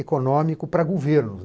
econômico para governos.